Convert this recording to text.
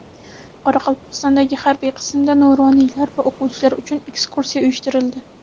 Qoraqalpog‘istondagi harbiy qismda nuroniylar va o‘quvchilar uchun ekskursiya uyushtirildi .